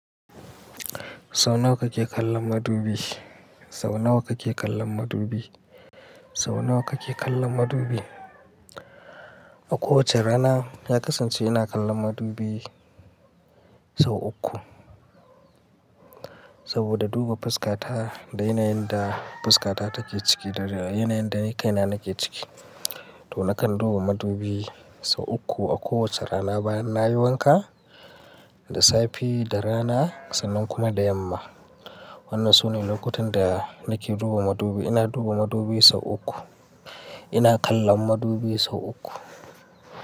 Sau nawa kake kallon madubi? Sau nawa kake kallon madubi? Sau nawa kake kallon madubi? A kowace rana, na kasance ina kallon madubi sau uku. Saboda duba fuskata da yanayin da fuskata take ciki da yanayin da ni kaina nake ciki. To nakan duba madubi sau uku a kowace rana bayan nayi wanka, da safe, da rana sannan kuma da yamma. Wannan sune lokutan da nake duba madubi. Ina duba madubi sau uku. Ina kallon madubi sau uku.